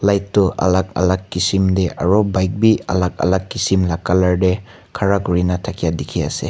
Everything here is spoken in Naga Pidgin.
light toh alak alak kisim te aru bike bi alak alak kisim la colour te khara kurine thakia dikhi ase.